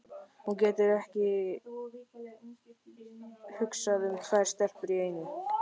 Hann getur ekki hugsað um tvær stelpur í einu!